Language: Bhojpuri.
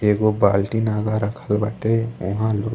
एगो बाल्टीन आगा रखल बाटे उहा लोग --